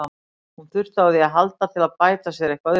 Hún þurfti á því að halda til að bæta sér eitthvað upp.